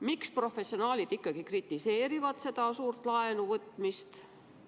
Miks professionaalid ikkagi kritiseerivad suurt laenuvõtmist?